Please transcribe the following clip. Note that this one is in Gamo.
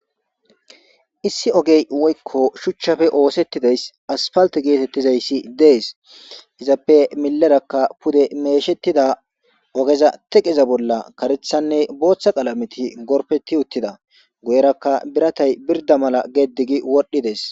Issi ogey woyko shuchchappe oothetidaysi aspalte geetetizaysi dees. Iza millerakka pude meyshetida teqeza bolla karethanne booththa qalameti gorpeti uttida. Guyeraka biratay birda mala geddi gi wodhdhides.